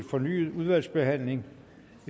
fornyet behandling